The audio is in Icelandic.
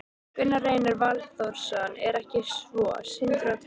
Gunnar Reynir Valþórsson: Er ekki svo, Sindri og Telma?